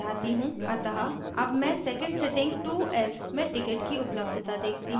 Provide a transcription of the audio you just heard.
अतः अब मैं second sitting 2 s में tickets की उपलब्धता देखती हूँ